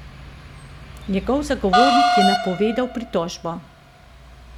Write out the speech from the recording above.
Njegov zagovornik je napovedal pritožbo.